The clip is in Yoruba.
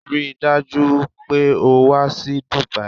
Rí i dájú o pé o wá sí Dubai!